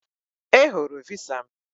I hụrụ visa m